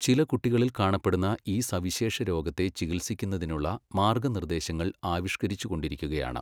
ചില കുട്ടികളിൽ കാണപ്പെടുന്ന ഈ സവിശേഷ രോഗത്തെ ചികിത്സിക്കുന്നതിനുള്ള മാർഗ്ഗനിർദ്ദേശങ്ങൾ ആവിഷ്കരിച്ചുകൊണ്ടിരിക്കുകയാണ്.